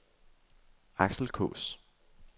Aksel Kaas